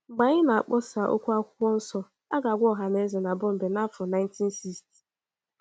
Mgbe anyị na - akpọsa okwu akwụkwọ nso, a ga - agwa ọhaneze na Bọmbee n’afọ 1960